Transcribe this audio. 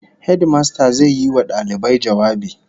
Hedimasta zai yi wa dalibai jawabi